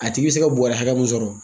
A tigi bi se ka bɔrɔ hakɛ min sɔrɔ.